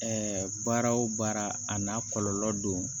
Ɛɛ baara wo baara a n'a kɔlɔlɔ don